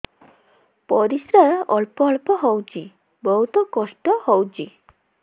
ପରିଶ୍ରା ଅଳ୍ପ ଅଳ୍ପ ହଉଚି ବହୁତ କଷ୍ଟ ହଉଚି